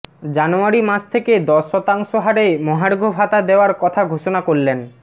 জানুয়ারি মাস থেকে দশ শতাংশ হারে মহার্ঘভাতা দেওয়ার কথা ঘোষণা করলেন